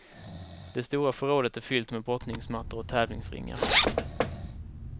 Det stora förrådet är fyllt med brottningsmattor och tävlingsringar.